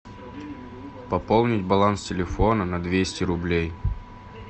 пополнить баланс телефона на двести рублей